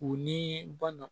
U ni ba na